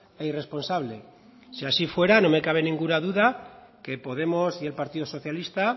e irresponsable si así fuera no me cabe ninguna duda que podemos y el partido socialista